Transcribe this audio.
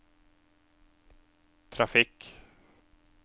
trafikk